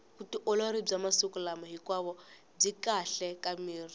vutiolori bya masiku hinkwao byi kahle ka miri